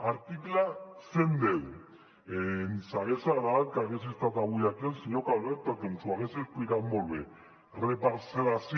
article cent i deu ens hagués agradat que hagués estat avui aquí el senyor calvet perquè ens ho hagués explicat molt bé reparcel·lació